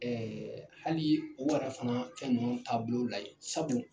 Ɛɛ hali o wara fana fɛn nunnu taabolo layi sabu